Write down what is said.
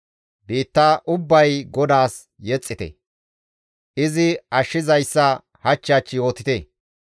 Biitta ubbay GODAAS yexxite; izi ashshizayssa hach hach yootite.